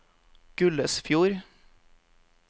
Gullesfjord